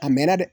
A mɛɛnna dɛ